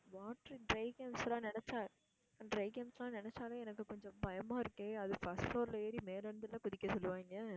water dry games லாம் நினச்சா dry games லாம் நினச்சாலே எனக்கு கொஞ்சம் பயமா இருக்கே அது first floor ல ஏறி மேல இருந்துல்ல குதிக்க சொல்லுவாங்க.